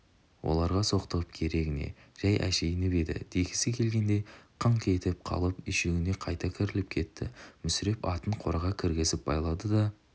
оларға соқтығып керегі не жәй әшейінім еді дегісі келгендей қыңқ етіп қалып үйшігіне қайта кіріп кетті мүсіреп атын қораға кіргізіп байлады да